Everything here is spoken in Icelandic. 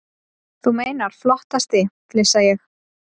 Þú meinar flottasti, flissa ég.